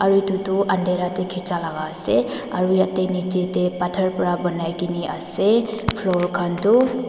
Etu toh andhaerah dae kicha laga ase aro yatheh nechidae pathor para banaikena ase floor khan tuh.